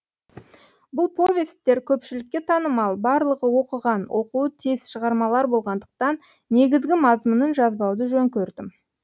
бұл повесттер көпшілікке танымал барлығы оқыған оқуы тиіс шығармалар болғандықтан негізгі мазмұнын жазбауды жөн көрдім